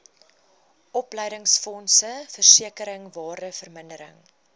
opleidingsfonds versekering waardevermindering